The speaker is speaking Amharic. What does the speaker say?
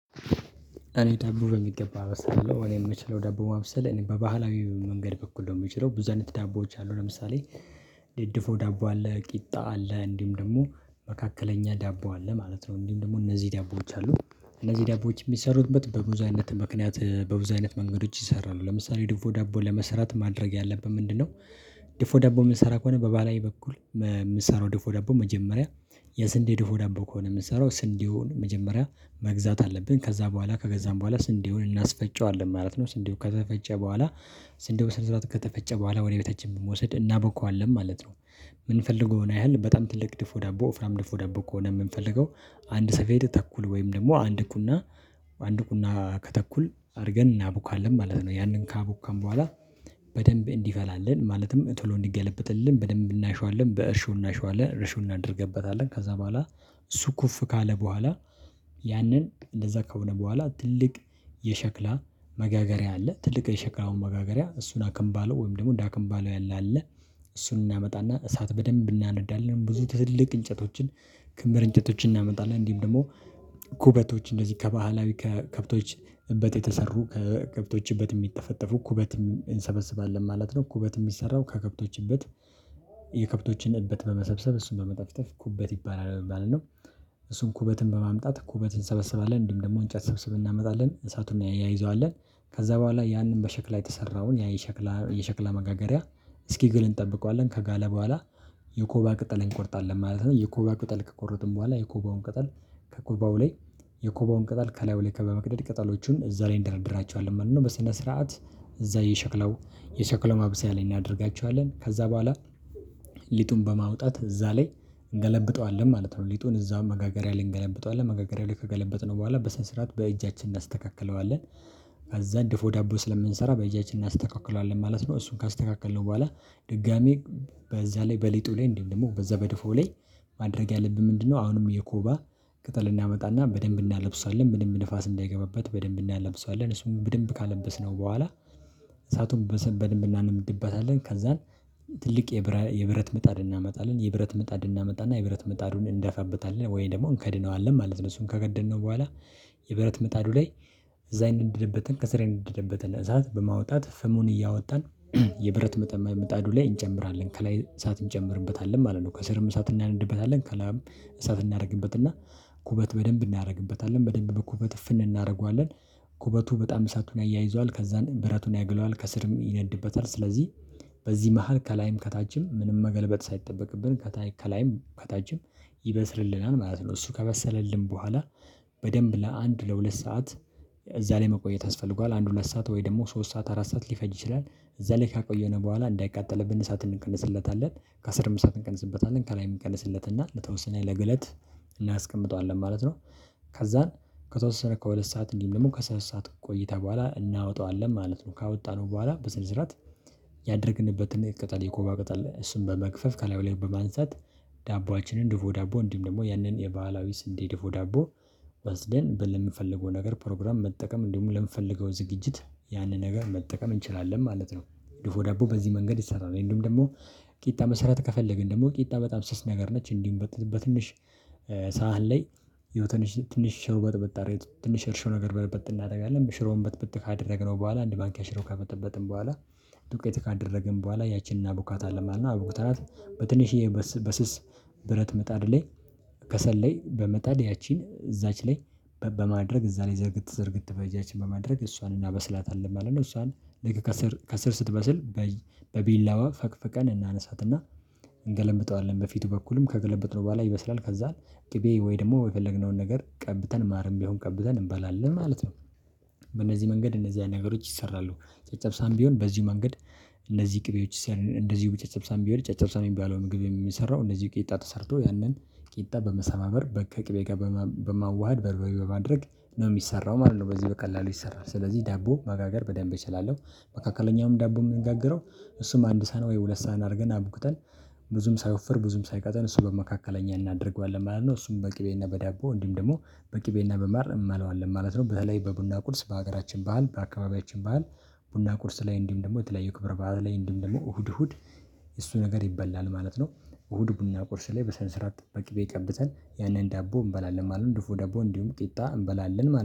እኔ ዳቦ በሚገባ አበስላለሁ እኔ የምችለው ዳቦ ማብሰል እኔ በባህላዊ መንገድ በኩል ነው የምችለው ብዙ አይነት ዳቦዎች አሉ። ለምሳሌ ድድፎ ዳቦ አለ ቂጣ አለ እንዲሁም ደግሞ መካከለኛ ዳቦ አለ ማለት ነው እንዲሁም ደግሞ እነዚህ ዳቦዎች አሉ እነዚህ ዳቦዎች የሚሰሩበት በብዙ አይነት ምክንያት በብዙ አይነት መንገዶች ይሰራሉ ለምሳሌ ድፎ ዳቦ ለመስራት ማድረግ ያለብን ምንድንነው? ድፎ ደቦ የምንሰራ ከሆነ በባህላዊ በኩል ም የምሰራው ድፎ ዳቦ መጀመሪያ የስንዴ ድፎ ዳቦ ከሆነ የምሰራው ስንዴውን መጀመሪያ መግዛት አለብን ከዛ በኋላ ከገዛን በኋላ ስንዴውን እናስፈጨዋለን ማለት ነው። ስንዴው ከተፈጨ በኋላ ስንዴው በስነ ስርዓት ከተፈጨ በኋላ ወደ ቤታችን በመወስድ እናቦከዋለን ማለት ነው። የምንፈልገውን ያህል በጣም ትልቅ ድፎ ዳቦ ወፍራም ድፎ ዳቦ ከሆነ የምንፈልገው አንድ ሰፌድ ተኩል ወይም ደግሞ አንድ ቁና አንድ ቁና ከተኩል አድርገን እናቦካለን ማለት ነው። ያንን ካቦካን በኋላ በደንብ እንዲፈላለን ማለትም ቶሎ እንዲገለብጥልን በደንብ እናሸዋለን በእርሾ እናሸዋለን እርሾ እናደርግበታለን ከዛ በኋላ። እሱ ኩፍ ካለ በኋላ ያንን እንደዛ ከሆነ በኋላ ትልቅ የሸክላ መጋገሪያ አለ ትልቅ የሸክላውን መጋገሪያ እሱን አከንባሎ ወይም ደግሞ እንደ አከንባሎ ያለ አለ። እሱን እናመጣና እሳት በደንብ እናነዳለን ብዙ ትልቅ እንጨቶችን ክምር እንጨቶችን እናመጣለን እንዲህም ደግሞ ኩበቶች እንደዚህ ከባህላዊ ከከብቶች እበት የተሰሩ ከከብቶች እበት የሚጠፈጠፉ ኩበትም እንሰበስባለን ማለት ነው። ኩበት የሚሰራው ከከብቶች እበት የከብቶችን እበት በመሰብሰብ እሱን በመጠፍጠፍ ኩበት ይባላል ማለት ነው። እሱን ኩበትን በማምጣት ኩበትን እንሰበስባለን እንዲሁም ደግሞ እንጨት ሰብስበን እናመጣለን እሳቱን እናያይዘዋለን። ከዛ በኋላ ያንን በሸክላ የተሠራውን ያ የሸክላ የሸክላ መጋገሪያ እስኪግል እንጠብቀዋለን ከጋለ በኋላ የኮባ ቅጠል እንቆርጣለን ማለት ነው። የኮባ ቅጠል ከቆረጥን በኋላ የኮባውን ቅጠል ከኮባው ላይ የኮባውን ቅጠል ከላዩ ለይ ከበ መቅደድ ቅጠሎቹን እዛ ላይ እንደረድራቸዋለን ማለት ነው። በስነ ስርዓት እዛ የሸክለው የሸክለው ማብሰያ ላይ እናደርጋቸዋለን ከዛ በኋላ። ሊጡን በማውጣት እዛ ላይ እንገለብጠዋለን ማለት ነው ሊጡን እዛ መጋገሪያ ላይ እንገለብጠዋለን መጋገሪያ ላይ ከገለበጥነው በኋላ በሰነሰርአት በእጃችን እናስተካክለዋለን። ከዛ ድፎ ዳቦ ስለምንሠራ በእጃችን እናስተካክለዋለን ማለት ነው። እሱን ካስተካከልነው በኋላ ድጋሚ በዛ ላይ በሊጡ ላይ እንዲሁም ደግሞ በዛ በድፎ ላይ ማድረግ ያለብን ምንድንነው? አሁንም የኮባ ቅጠል እናመጣና በደንብ እናለብሳለን ምንም ንፋስ እንዳይገባበት በደንብ እናለብሳለን እሱን በደንብ ካለበስነው በኋላ። እሳቱን በስር በደንብ እናነድበታለን ከዛን ትልቅ የብረ የብረት ምጣድ እናመጣለን የብረት ምጣድ እናመጣና የብረት ምጣዱን እንደፋበታለን ወይ ደግሞ እንከድነዋለን ማለት ነው። እሱን ከገደነው በኋላ የብረት ምጣዱ ላይ እዛ የነደደበተን ከስር የንደደበተን እሳት በማውጣት ፍሙን እያወጣን የብረት ምጠ ምጣዱ ላይ እንጨምራለን ከላይ እሳት እንጨምርበታለን ማለት ነው። ከስርም እሳት እናነድበታለን ከላይም እሳት እናደርግበትና ኩበት በደንብ እናደርግበታለን በደንብ በኩበት እፍን እናደርገዋለን ኩበቱ በጣም እሳቱን ያያይዛዋል ከዛን ብረቱን ያግለዋል ከስርም ይነድበታል ስለዚህ። በዚህ መሃል ከላይም ከታችም ምንም መገልበጥ ሳይጠበቅብን ከታይ ከላይም ከታችም ይበስልልናል ማለት ነው። እሱ ከበሰለልን በኋላ በደንብ ለአንድ ለሁለት ሰዓት እዛ ላይ መቆየት ያስፈልገዋል። አንድ ሁለት ሰዓት ወይ ደግሞ ሶስት ሰዓት አራት ሰዓት ሊፈጅ ይችላል እዛ ላይ ካቆየነው በኋላ እንዳይቃጠልብን እሳት እንቀንስለታለን ከስርም እሳት እንቀንስበታለን ከላይ እንቀንስለት እና ለተወሰነ ለግለት እናስቀምጠዋለን ማለት ነው። ከዛን ከተወሰነ ከሁለት ሰዓት እንዲህም ደግሞ ከሶስት ሰዓት ቆይታ በኋላ እናወጠዋለን ማለት ነው። ካወጣነው በኋላ በስነ ስርዓት ያደረግንበትን ቅጠል የኮባ ቅጠል እሱን በመክፈፍ ከላዩ ላይ በማንሳት ዳቦአችንን ደፎ ዳቦ እንዲሁም ደግሞ ያንን የባህላዊ ስንዴ ድፎ ዳቦ ወስደን በምንፈልገው ነገር ፕሮግራም መጠቀም እንዲሁም ለምንፈልገው ዝግጅት ያንን ነገር መጠቀም እንችላለን ማለት ነው። ድፎ ዳቦ በዚህ መንገድ ይሰራል ወይም ደግሞ ቂጣ መሥረት ከፈለግን ደግሞ ቂጣ በጣም ስስ ነገር ነች። እንዲሁም በትንሽ ሳህን ላይ ያው ትንሽ ትንሽ ሽሮ በጥበጥ አርገን ትንሽ እርሾ ነገር በጥበጥ እናደርጋለን ሽሮውን በጥበጥ ካደረግነው በኋላ አንድ ማንኪያ ሽሮ ከበጠበጥን በኋላ። ዱቄት ካደረግን በኋላ ያቺን እናቡካታለን ማለት ነው። አቡክተናት በትንሽዬ በስ በስስ ብረት ምጣድ ላይ ከሰል ላይ በመጣድ ያችን እዛች ላይ በማድረግ እዛ ላይ ዝርግት ዝርግት በእጃችን በማድረግ እሷን እናበስላታለን ማለት ነው። እሷን ልክ ከስር ከስር ስትበስል በእጅ በቢላዋ ፈቅፍቀን እናነሳት እና እንገለብጠዋለን በፊቱ በኩልም ከገለበጥነው በኋላ ይበስላል ከዛ ቅቤ ወይ ደግሞ የፈለግነውን ነገር ቀብተን ማርም ቢሆን ቀብተን እንበላለን ማለት ነው። በእነዚህ መንገድ እንደዚህ አይነት ነገሮች ይሰራሉ። ጨጨብሳም ቢሆን በዚህ መንገድ እነዚህ ቅቤዎች ስር እንደዚሁም ጨጨብሳም ቢሆን ጨጨብሳም የሚባለው ምግብ የሚሰራው እንደዚሁ ቂጣ ተሰርቶ ያንን ቂጣ በመሰባበር በከቅቤ ጋር በማ በማዋሃድ በርበሬ በማድረግ ነው የሚሰራው ማለት ነው። በዚህ በቀላሉ ይሰራል ስለዚህ ዳቦ መጋገር በደንብ እችላለሁ። መካከለኛውም ዳቦ የምንጋግረው እሱም አንድ ሳህን ወይ ሁለት ሳህን አድርገን አቡክተን ብዙም ሳይወፍር ብዙም ሳይቀጥን እሱ በመካከለኛ እናደርገዋለን ማለት ነው። እሱም በቅቤና በዳቦ እንዲሁም ደግሞ በቅቤና በማር እንበለዋለን ማለት ነው። በተለይ በቡና ቁርስ በሀገራችን ባህል በአካባቢያችን ባህል ቡና ቁርስ ላይ እንዲሁም ደግሞ የተለያዩ ክብረ በዓል ላይ እንዲሁም ደግሞ እሁድ እሁድ እሱ ነገር ይበላል ማለት ነው። እሁድ ቡና ቁርስ ላይ በሰነስርአት በቅቤ ቀብተን ያንን ዳቦ እንበላለን ማለት ነው። ድፎ ዳቦ እንዲሁም ቂጣ እንበላለን ማለት